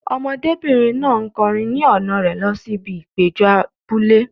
Ọmọdébìnrin náà ń kọrin ni ọ̀nà rẹ̀ lọ sí ibi ìpéjọ abúlé.